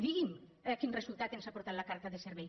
digui’m quin resultat ens ha portat la carta de servei